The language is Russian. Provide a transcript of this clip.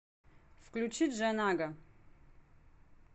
включи джанага